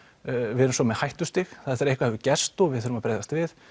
við erum svo með hættustig það er þegar eitthvað hefur gerst og við þurfum að bregðast við